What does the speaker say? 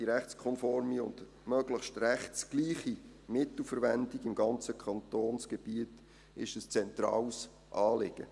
Die rechtskonforme und möglichst rechtsgleiche Mittelverwendung im ganzen Kantonsgebiet ist ein zentrales Anliegen.